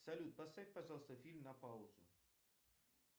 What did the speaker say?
салют поставь пожалуйста фильм на паузу